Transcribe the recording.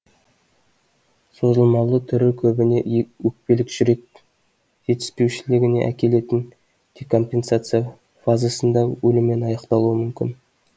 созылмалы түрі көбіне өкпелік жүрек жетіспеушілігіне әкелетін декомпенсация фазасында өліммен аяқталуы мүмкін